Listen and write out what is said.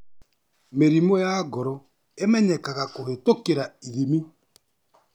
Mĩrimũ ya ngoro ĩmenyekanaga kũhĩtũkĩ ithimi